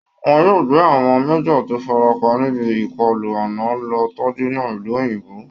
Wọ́n yóò gbé àwọn major tó farapa níbi ìkọlù ànà lọ tọ́jú ní ìlú òyìnbó